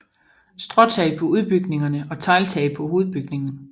Stråtag på udbygningerne og tegltag på hovedbygningen